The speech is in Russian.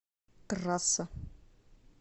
трасса